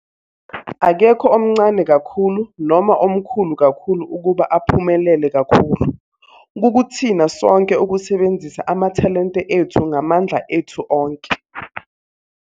Akekho omncane kakhulu noma omkhulu kakhulu ukuba aphumelele kakhulu - kukuthina sonke ukusebenzisa amathalente ethu ngamandla ethu onke.